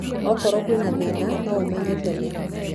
Okorwo kwĩna thĩna no ũmenye tene.